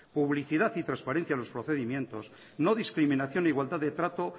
publicidad y transparencia en los procedimientos no discriminación igualdad de trato